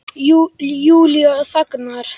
Júlía þagnar.